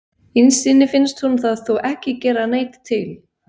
Innst inni finnst honum það þó ekki gera neitt til.